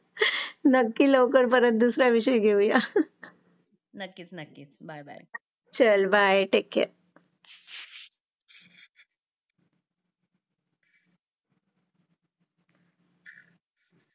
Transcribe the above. हम्म पॅनिक होतात नाही बापरे हा आजारी नको पडायला म्हणून याला हे करा ते करा त्यामुळे या गोष्टी बोलता बोलता आज आपण या विषयावर आलो आणि हे आपण शाळेमध्ये प्रत्येक मीटिंगमध्ये जर सांगितलं तर मला त्याचा जरा जास्त चांगला इम्पॅक्ट होईल. हल्ली छान मध्ये पण हे आहेत ग्रूमिंग पार्ट किंवा हाइजीन या गो.